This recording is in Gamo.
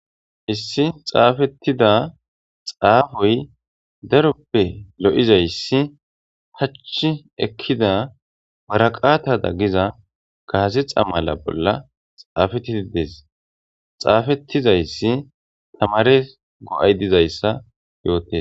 Issi xafetida xafoy daroppe lo'izaysi pachi ekiza waraqata giza gazexa mala bolla xafetidi des xafetizaysi tamares go'ay dizaysa yottes